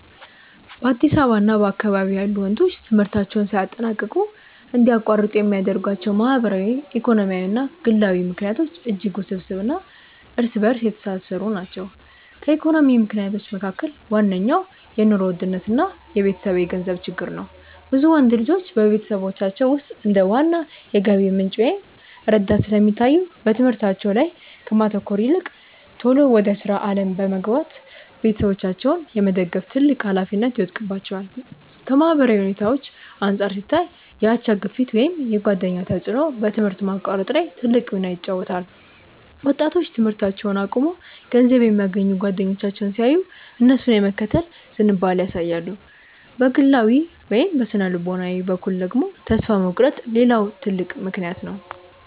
በአዲስ አበባ እና በአካባቢዋ ያሉ ወንዶች ትምህርታቸውን ሳያጠናቅቁ እንዲያቋርጡ የሚያደርጓቸው ማህበራዊ፣ ኢኮኖሚያዊ እና ግላዊ ምክንያቶች እጅግ ውስብስብ እና እርስ በእርስ የተሳሰሩ ናቸው። ከኢኮኖሚ ምክንያቶች መካከል ዋነኛው የኑሮ ውድነት እና የቤተሰብ የገንዘብ ችግር ነው። ብዙ ወንዶች ልጆች በቤተሰቦቻቸው ውስጥ እንደ ዋና የገቢ ምንጭ ወይም ረዳት ስለሚታዩ፣ በትምህርታቸው ላይ ከማተኮር ይልቅ ቶሎ ወደ ሥራ ዓለም በመግባት ቤተሰባቸውን የመደገፍ ትልቅ ኃላፊነት ይወድቅባቸዋል። ከማህበራዊ ሁኔታዎች አንጻር ሲታይ፣ የአቻ ግፊት ወይም የጓደኛ ተጽዕኖ በትምህርት ማቋረጥ ላይ ትልቅ ሚና ይጫወታል። ወጣቶች ትምህርታቸውን አቁመው ገንዘብ የሚያገኙ ጓደኞቻቸውን ሲያዩ፣ እነሱን የመከተል ዝንባሌ ያሳያሉ። በግላዊ ወይም በሥነ-ልቦና በኩል ደግሞ፣ ተስፋ መቁረጥ ሌላው ትልቅ ምክንያት ነው።